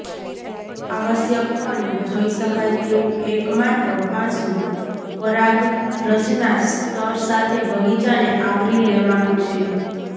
આવશ્યકપણે જોઇ શકાય તેવું એક માત્ર પાસું પરાગરજના સ્તર સાથે બગીચાને આવરી લેવાનું છે